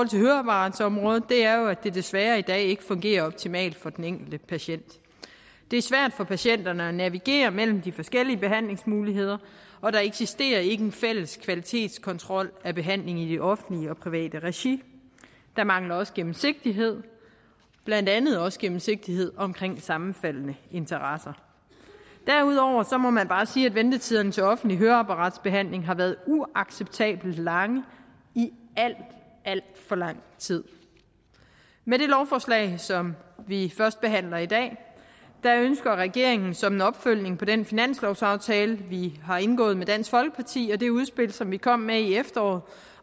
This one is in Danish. til høreapparatområdet er jo at det desværre i dag ikke fungerer optimalt for den enkelte patient det er svært for patienterne at navigere mellem de forskellige behandlingsmuligheder og der eksisterer ikke en fælles kvalitetskontrol af behandlingen i det offentlige og private regi der mangler også gennemsigtighed blandt andet også gennemsigtighed omkring sammenfaldende interesser derudover må man bare sige at ventetiderne til offentlig høreapparatbehandling har været uacceptabelt lange i alt alt for lang tid med det lovforslag som vi førstebehandler i dag ønsker regeringen som en opfølgning på den finanslovsaftale vi har indgået med dansk folkeparti og det udspil som vi kom med i efteråret